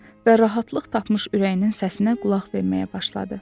Və rahatlıq tapmış ürəyinin səsinə qulaq verməyə başladı.